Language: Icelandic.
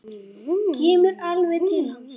Kemur alveg til hans.